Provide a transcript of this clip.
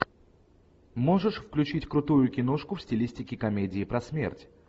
можешь включить крутую киношку в стилистике комедии про смерть